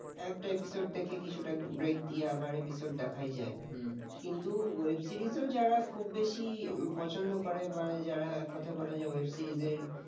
একটা episode দেখে আবার কিছুটা break দিয়ে আবার episode দেখাই যায় হুম কিন্তু web series ও যারা খুব বেশি পছন্দ করে বা যারা এক কথায় বলা যায় web series র